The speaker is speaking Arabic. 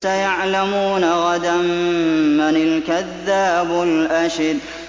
سَيَعْلَمُونَ غَدًا مَّنِ الْكَذَّابُ الْأَشِرُ